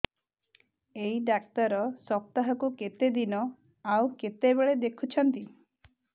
ଏଇ ଡ଼ାକ୍ତର ସପ୍ତାହକୁ କେତେଦିନ ଆଉ କେତେବେଳେ ଦେଖୁଛନ୍ତି